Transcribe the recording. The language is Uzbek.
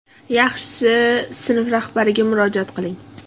Yaxshisi sinf rahbariga murojaat qiling.